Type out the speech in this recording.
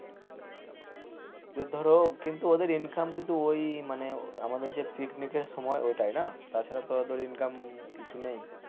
ওদের ধর কিন্তু income কিন্তু ওই মানে আমাদের যে পিকনিকের সময় ওটা না তাছাড়া ওদের income কিছু নেই,